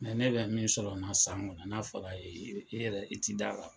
ne bɛ min sɔrɔ nin na san kɔnɔ, n'a fɔra e ye, e yɛrɛ i t t'i d' a don a la